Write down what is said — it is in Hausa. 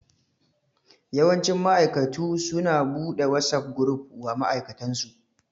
Yawanci ma'aikatu su na buɗe WhatsApp gruf wa ma'aikatansu